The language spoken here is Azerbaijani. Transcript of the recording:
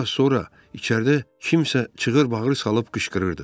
Bir az sonra içəridə kimsə çığır-bağır salıb qışqırırdı.